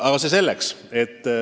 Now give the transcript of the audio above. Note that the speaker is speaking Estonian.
Aga see selleks.